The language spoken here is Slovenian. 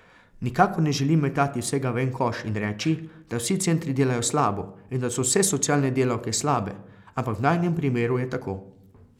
Nikakor ne želim metati vsega v en koš in reči, da vsi centri delajo slabo in da so vse socialne delavke slabe, ampak v najinem primeru je tako.